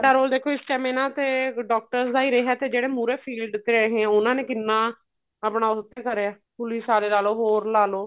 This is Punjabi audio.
role ਦੇਖੋ ਇਸ ਚ ਐਵੇਂ ਨਾ ਤੇ doctors ਦਾ ਹੀ ਰਿਹਾ ਤੇ ਜਿਹੜੇ ਮੁਰੇ field ਤੇ ਰਹੇ ਉਹਨਾ ਨੇ ਕਿੰਨਾ ਆਪਣਾ ਉਹ ਕਰਿਆ police ਸਾਰੇ ਲਾਲੋ ਹੋਰ ਲਾਲੋ